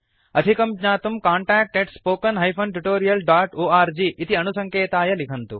अधिकं ज्ञातुं contactspoken tutorialorg इति अणुसङ्केताय लिखन्तु